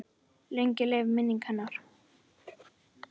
Lengi lifi minning hennar!